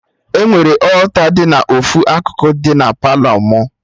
Enwere alta dị na ofu akụkụ na Palọ mụ